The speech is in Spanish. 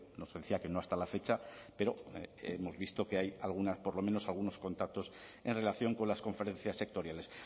nos decía que no hasta la fecha pero hemos visto que hay por lo menos algunos contactos en relación con las conferencias sectoriales